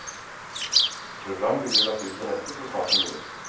Program vil bli lagt ut på nettet så snart som mulig.